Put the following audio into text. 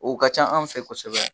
O ka ca an fɛ kosɛbɛ.